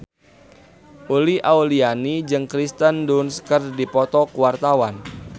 Uli Auliani jeung Kirsten Dunst keur dipoto ku wartawan